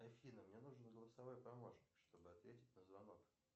афина мне нужен голосовой помощник чтобы ответить на звонок